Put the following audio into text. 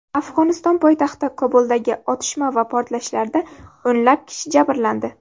Afg‘oniston poytaxti Kobuldagi otishma va portlashlarda o‘nlab kishi jabrlandi.